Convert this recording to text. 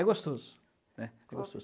É gostoso, né? É gostoso.